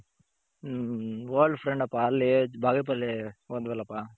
old friend ಅಪ್ಪ ಅಲ್ಲಿ ಬಾಗೆಪಲ್ಲಿ ಓದ್ವ ಅಲ್ಲ ಪ .